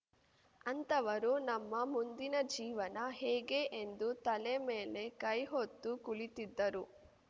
ಅಂತವರು ನಮ್ಮ ಮುಂದಿನ ಜೀವನ ಹೇಗೆ ಎಂದು ತಲೆ ಮೇಲೆ ಕೈಹೊತ್ತು ಕುಳಿತಿದ್ದರು